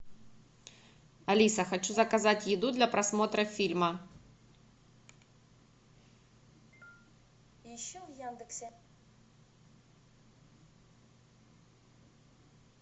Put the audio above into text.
алиса хочу заказать еду для просмотра фильма